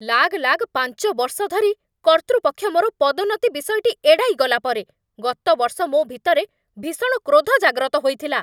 ଲାଗଲାଗ ପାଞ୍ଚ ବର୍ଷ ଧରି କର୍ତ୍ତୃପକ୍ଷ ମୋର ପଦୋନ୍ନତି ବିଷୟଟି ଏଡ଼ାଇ ଗଲା ପରେ, ଗତ ବର୍ଷ ମୋ ଭିତରେ ଭୀଷଣ କ୍ରୋଧ ଜାଗ୍ରତ ହୋଇଥିଲା।